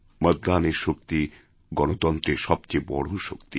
মতদানের শক্তি গণতন্ত্রের সবচেয়ে বড় শক্তি